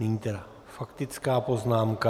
Nyní tedy faktická poznámka.